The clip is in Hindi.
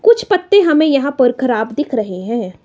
कुछ पत्ते हमें यहां पर खराब दिख रहे हैं।